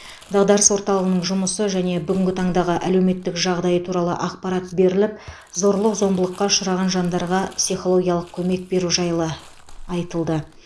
дағдарыс орталығының жұмысы және бүгінгі таңдағы әлеуметтік жағдайы туралы ақпарат беріліп зорлық зомбылыққа ұшыраған жандарға психологиялық көмек беру жайлы айтылды